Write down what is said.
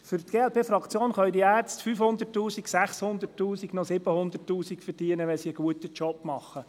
Für die glp-Fraktion können die Ärzte 500 000, 600 000 oder auch 700 000 Franken verdienen, wenn sie ihre Arbeit gut machen.